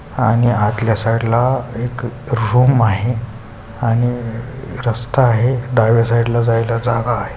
आणि आतल्या साइड ला एक रूम आहे आणि रस्ता आहे डाव्या साइड ला जायला जागा आहे.